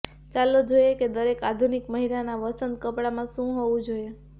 ચાલો જોઈએ કે દરેક આધુનિક મહિલાના વસંત કપડામાં શું હોવું જોઈએ